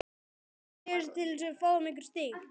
Veit það nokkur maður?